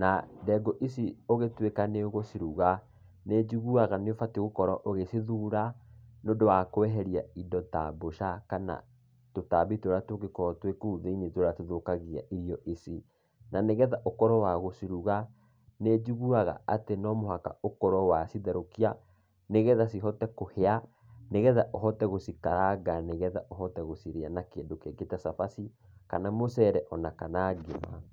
na ndengũ ici ũgĩtuĩka nĩ ũgũciruga, nĩ njiguaga nĩ ũbatiĩ gũkorwo ũgĩcithũra nĩ ũndũ wa kweheria indo ta mbũca kana tũtambi tũrĩa tũngĩkorwo kũu thĩini tũrĩa tũthũkagia irio ici. Na nĩgetha ũkorwo wa gũciruga, nĩ njiguaga nomũhaka ũkorwo wa citherũkia, nĩgetha cihote kũhĩa, nĩgetha ũhote gũcikaranga, nĩgetha ũhote gũcirĩa na kĩndũ kĩngĩ ta cabaci kana mũcere, kana kĩndũ kĩngĩ, kana ngima.